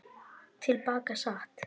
Til baka sat